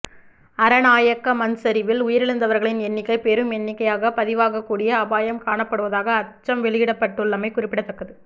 அரநாயக்க மண்சரிவில் உயிரிழந்தவர்களின் எண்ணிக்கை பெரும் எண்ணிக்கையாக பதிவாகக்கூடிய அபாயம் காணப்படுவதாக அச்சம் வெளியிடப்பட்டுள்ளமை குறிப்பிடத்தக்கது